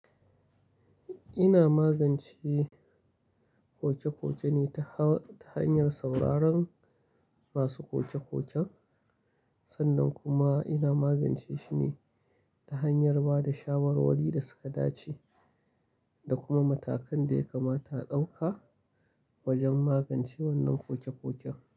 Ina magance koke-koke ne ta hanyar sauraron ma su koke-koken. Sannan kuma ina magance shi ne ta hanyar ba da shawarwari da suka dace da kuma matakan da ya kamata a ɗauka wajen magance wannan koke-koken.